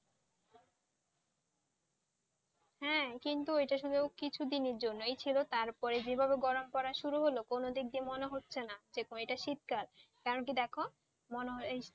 হ্যাঁ কিন্তু এটা ছিল কিছু দিনের জন্য এর ছিল তার পরে গরম পরা শুরু হলো কোনো দি ক থেকে মনে হচ্ছে না সেটা আজ শীত কাল কারণ কি দেখো মনে